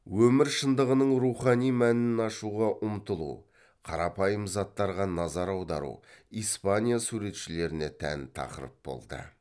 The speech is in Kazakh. өмір шындығының рухани мәнін ашуға ұмтылу қарапайым заттарға назар аудару испания суретшілеріне тән тақырып болды